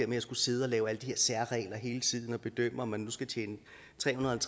med at skulle sidde og lave alle de her særregler hele tiden og bedømme om man nu skal tjene trehundrede og